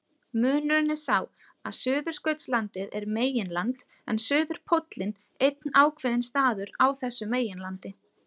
Munurinn er sá að Suðurskautslandið er meginland en suðurpóllinn einn ákveðinn staður á þessu meginlandi.